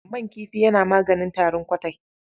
Man kifi yana maganin tarin ƙwatai.